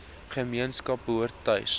gemeenskap behoort tuis